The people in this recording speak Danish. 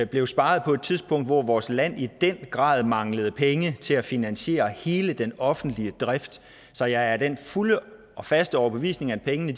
blev sparet på et tidspunkt hvor vores land i den grad manglede penge til at finansiere hele den offentlige drift så jeg er af den fulde og faste overbevisning at pengene